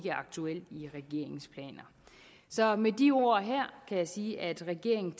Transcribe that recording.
aktuelt i regeringens planer så med de ord her kan jeg sige at regeringen